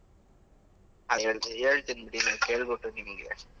ಆ ಹೇಳ್ತಿನಿ ಹೇಳ್ತಿನಿ ಬಿಡಿ ನಾನ್ ಕೇಳ್ಬಿಟ್‌ ನಿಮ್ಗೆ.